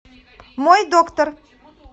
мой доктор